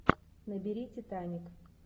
набери титаник